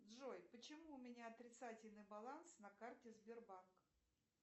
джой почему у меня отрицательный баланс на карте сбербанк